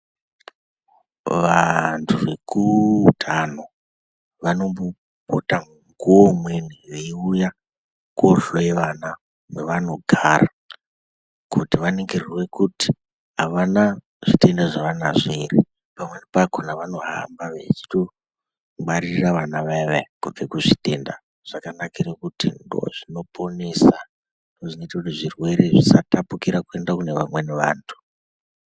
Vanthu vekuutano wanombopota mukuwo umweni veiuya kohloyale vana kwevanogara kuti vaningirwe kuti havana zvitenda zvaanazvo ere pamweni pakhona vanohamba vachitongwaririra vana vayavaya kubve kuzvitenda zvakanakira kuti ndozinoponesa zvinoite kuti zvirwere zvisatapukira kuenda kune vamweni vanthu.